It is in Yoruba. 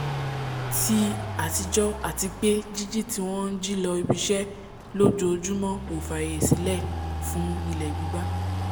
ti àtijọ́ àti pé jíjí tí wọ́n njí lọ ibiṣẹ́ lójoojúmọ́ ò fààyè sílẹ̀ fún ilẹ̀ gbígbá